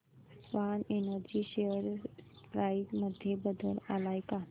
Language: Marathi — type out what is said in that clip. स्वान एनर्जी शेअर प्राइस मध्ये बदल आलाय का